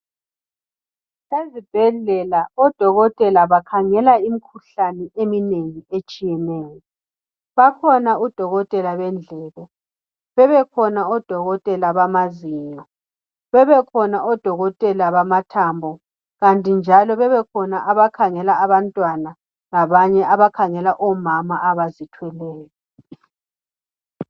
Ezibhedlela odokotela bakhangela imikhuhlane eminengi etshiyeneyo. Bakhona odokotela bendlebe bebekhona odokotela bamazinyo, bebekhona odokotela bamathambo kanti njalo bebekhona abakhangela abantwana labanye abakhangela omama abazithweleyo.